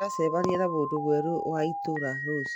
Tũracemania na mũndũ mwerũ wa itũũra rũciũ